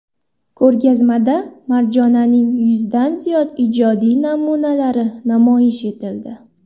Ko‘rgazmada Marjonaning yuzdan ziyod ijodiy namunalari namoyish etildi.